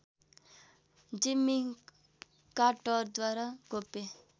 जिम्मी कार्टरद्वारा गोप्य